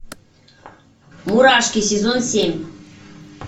мурашки сезон семь